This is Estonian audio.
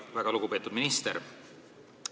Väga lugupeetud minister!